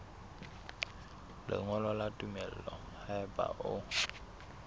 lengolo la tumello haeba o